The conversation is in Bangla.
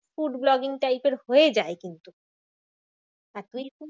Food vlogging type এর হয়ে যায় কিন্তু